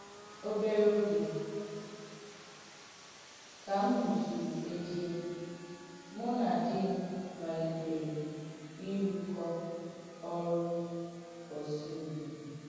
Òbèrè ògè kà m̀ mùsùrù̀ Èddiè, mụ̀ nà dì m̀ màlìtèrè ìrùkọ́ òrụ̀ ọ̀sù ùzò.